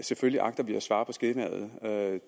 selvfølgelig agter vi at svare på skemaet